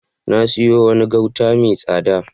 Na sayo wani gauta mai tsada.